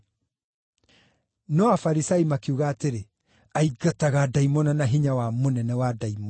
No Afarisai makiuga atĩrĩ, “Aingataga ndaimono na hinya wa mũnene wa ndaimono.”